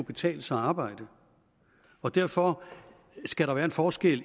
betale sig at arbejde og derfor skal der være en forskel